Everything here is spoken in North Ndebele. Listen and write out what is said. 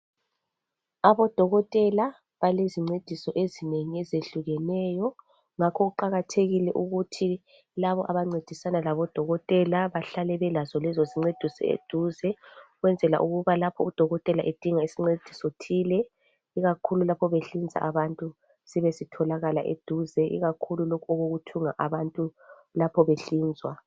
abodokotela balezincediso ezinengi ezehlukeneyo ngakho kuqakathekile ukuthi labo abancedisana labo dokotela bahlale belazo lezo zincediso eduze ukwenzela ukuba lapho u dokotela edinga isincediso thile ikakhulu lapho behlinza abantu sibe sitholakala eduze ikakhulu lokhu okokuthunga abantu lapho behlinzwa